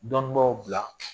Dɔni b'aw bila